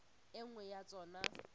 e nngwe ya tsona e